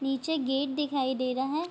नीचे गेट दिखाई दे रहा है।